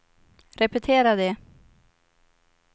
repetera det